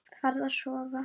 Farðu að sofa.